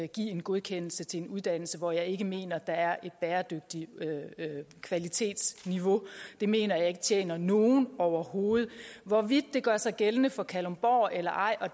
give en godkendelse til en uddannelse hvor jeg ikke mener der er et bæredygtigt kvalitetsniveau det mener jeg ikke tjener nogen overhovedet hvorvidt det gør sig gældende for kalundborg eller ej og